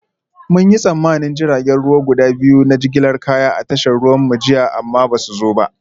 Mun yi tsammanin jiragen ruwa guda biyu na jigilar kaya a tashar ruwanmu jiya amma ba su zo ba